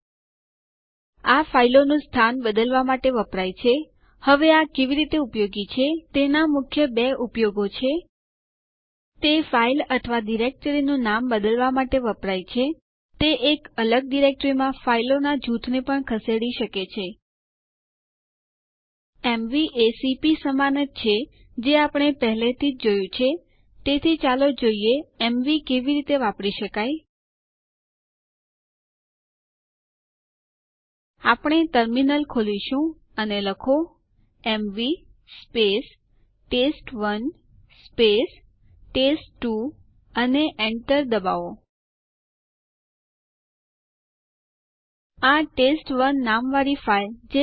usermod આદેશ super user અથવા root user ને બીજા યુઝર અકાઉન્ટ ના સુયોજનો બદલવા માટે સક્રિય કરે છે જેમ કે પાસવર્ડને કોઈ પણ પાસવર્ડ નહી અથવા ખાલી પાસવર્ડ ધ્વારા બદલો